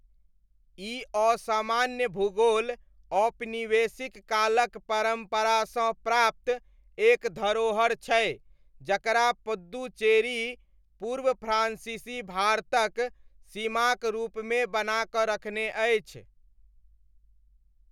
ई असामान्य भूगोल औपनिवेशिक कालक परम्परासँ प्राप्त एक धरोहर छै जकरा पुद्दुचेरी पूर्व फ्रान्सीसी भारतक सीमाक रूपमे बना कऽ रखने अछि।